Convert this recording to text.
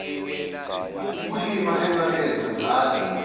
ubulima engabenza ngala